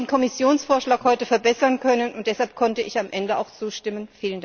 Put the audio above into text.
Wir haben den Kommissionsvorschlag heute verbessern können, und deshalb konnte ich am Ende auch zustimmen.